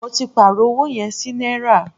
Mó tí pàárọ̀ ọwọ yẹn sí náírà.